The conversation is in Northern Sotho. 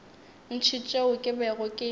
ntši tšeo ke bego ke